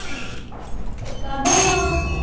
கதையா